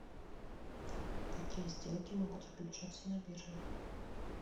какие сделки могут заключаться на бирже